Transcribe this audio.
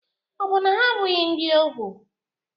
Ọ̀ bụ na ha abụghị ndị ohu?